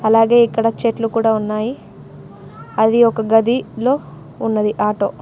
అలాగే ఇక్కడ చెట్లు కూడా ఉన్నాయి అది ఒక గది లో ఉన్నది ఆటో .